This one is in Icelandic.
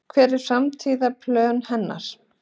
Hver eru framtíðarplön hennar?